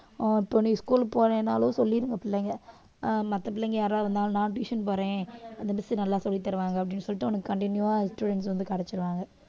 ஆஹ் இப்போ நீ school க்கு போகலைன்னாலும் சொல்லிடுங்க பிள்ளைங்க ஆஹ் மத்த பிள்ளைங்க யாரா இருந்தாலும் நான் tuition போறேன் அந்த miss நல்லா சொல்லித் தருவாங்க அப்படின்னு சொல்லிட்டு உனக்கு continue ஆ students வந்து கிடைச்சிருவாங்க